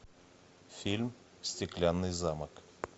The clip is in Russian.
фильм стеклянный замок